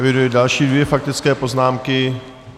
Eviduji dvě další faktické poznámky.